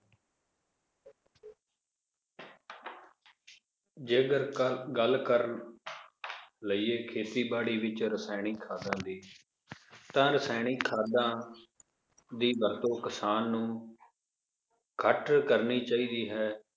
ਜੇ ਅਗਰ ਕਰ ਗੱਲ ਕਰ ਲਾਈਏ ਖੇਤੀਬਾੜੀ ਵਿਚ ਰਸਾਇਣਿਕ ਖਾਦਾਂ ਦੀ ਤਾਂ ਰਸਾਇਣਿਕ ਖਾਦਾਂ ਦੀ ਵਰਤੋਂ ਕਿਸਾਨ ਨੂੰ ਘਟ ਕਰਨੀ ਚਾਹੀਦੀ ਹੈ l